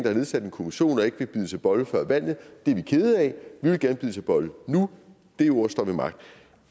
har nedsat en kommission og ikke vil bide til bolle før valget det er vi kede af vi vil gerne bide til bolle nu det ord står ved magt